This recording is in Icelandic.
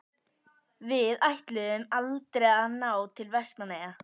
Við ætluðum aldrei að ná til Vestmannaeyja.